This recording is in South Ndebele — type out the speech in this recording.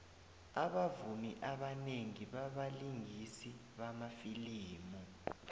abavumi abanengi babalingisi wamafilimu